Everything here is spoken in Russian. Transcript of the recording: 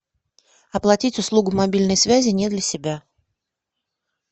оплатить услугу мобильной связи не для себя